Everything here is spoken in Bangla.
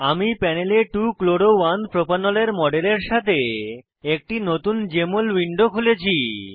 আমি প্যানেলে 2 chloro 1 প্রোপানল এর মডেলের সাথে একটি নতুন জেএমএল উইন্ডো খুলেছি